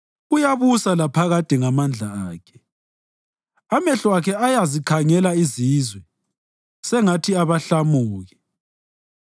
Uyabusa laphakade ngamandla Akhe, amehlo Akhe ayazikhangela izizwe sengathi abahlamuki.